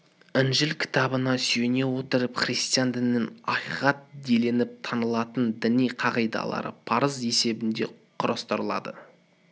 інжіл кітабына сүйене отырып христиан дінінің акиқат делініп танылатын діни қағидалары парыз есебінде құрастырылды